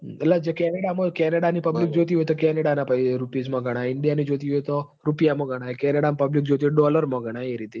એટલ કેનેડા મો કેનેડા ની public જોતી હોય તો કેનેડા ના રુપીજ મો ગણાય india ની જોતી હોય તો રૂપીયા મો ગણાય કેનેડા ની public જોતી હોય તો dollar મો ગણાય એરીતે